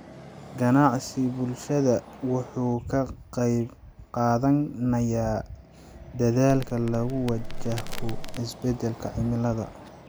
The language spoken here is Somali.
Ganacsiga bulshada wuxuu ka qaybqaadanayaa dadaallada lagu wajaho isbeddelka cimilada.